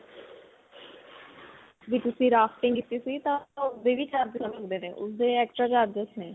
ਵੀ ਤੁਸੀਂ rafting ਕੀਤੀ ਸੀ ਤਾਂ ਉਸਦੇ ਵੀ charge ਹੁੰਦੇ ਨੇ. ਉਸਦੇ extra charges ਨੇ.